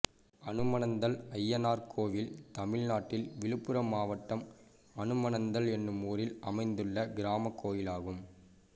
அனுமனந்தல் அய்யனார் கோயில் தமிழ்நாட்டில் விழுப்புரம் மாவட்டம் அனுமனந்தல் என்னும் ஊரில் அமைந்துள்ள கிராமக் கோயிலாகும்